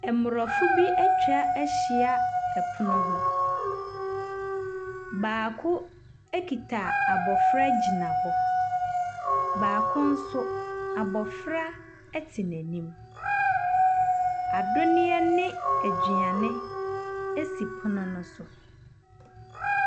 Aborɔfo bi atwa ahyia pono ho. Baako kita abɔfra gyina hɔ. Baako nso, abɔfra te n'anim. Anonneɛ ne aduane si pono no so.